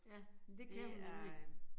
Ja men det kan hun nemlig